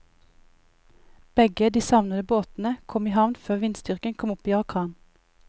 Begge de savnede båtene kom i havn før vindstyrken kom opp i orkan.